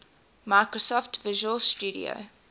microsoft visual studio